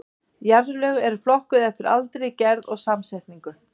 Jarðlög eru flokkuð eftir aldri, gerð og samsetningu.